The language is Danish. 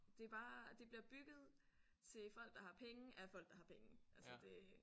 Det er bare det bliver bygget til folk der har penge af folk der har penge altså det